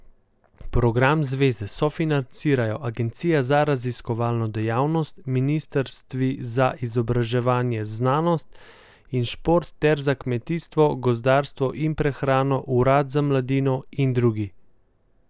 Program zveze sofinancirajo agencija za raziskovalno dejavnost, ministrstvi za izobraževanje, znanost in šport ter za kmetijstvo, gozdarstvo in prehrano, urad za mladino in drugi.